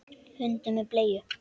Hundur með bleiu!